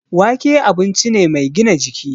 Wake abinci ne mai gina jiki